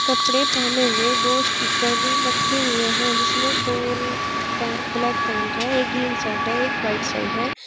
कपड़े पहने हुए दो स्टिकर भी रखे हुए हैं जिसमें दो पै ब्लैक पेंट है एक ग्रीन शर्ट है एक वाइट शर्ट है।